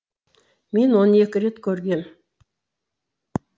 мен оны екі рет көргем